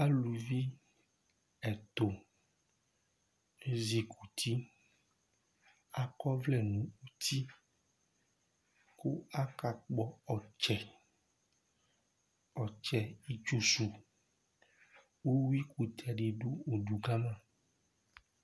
Aluvi ɛtu zɛti akɔ ɔvlɛ nʋ ʋti kʋ akakpɔ ɔtsɛ, ɔtsɛ itsʋ su Ʋwʋi kʋtɛ du ʋdu kama